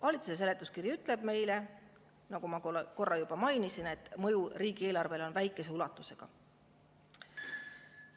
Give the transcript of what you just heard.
Valitsuse seletuskiri ütleb meile, nagu ma korra juba mainisin, et mõju riigieelarvele on väikese ulatusega.